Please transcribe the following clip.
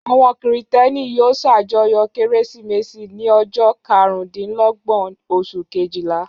Àwọn Kìrìtẹ́ẹ́nì yóò ṣàjọyọ̀ Kérésìmesì ní ọjọ́ karùndínlọ́gbọ̀n oṣù kejìlá.